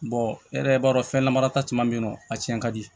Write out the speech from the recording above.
e yɛrɛ b'a dɔn fɛn lamara ta caman be yen nɔ a cɛn ka di